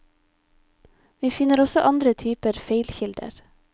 Vi finner også andre typer feilkilder.